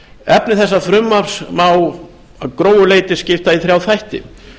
efni þessa frumvarps má að grófu leyti skipta í þrjá þætti